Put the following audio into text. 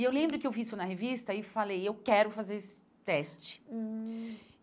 E eu lembro que eu vi isso na revista e falei, eu quero fazer esse teste hum.